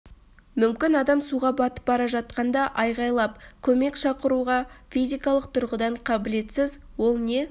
мүмкін адам суға батып бара жатқанда айғалап көмек шақыруға физикалық тұрғыдан қабілетсіз ол не